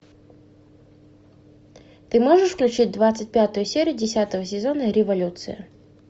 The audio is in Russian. ты можешь включить двадцать пятую серию десятого сезона революция